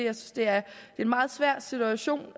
at det er en meget svær situation